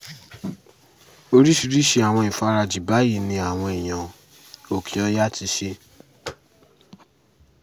oríṣiríṣii àwọn ìfarajì báyìí ni àwọn èèyàn òkè-ọ̀yà ti ṣe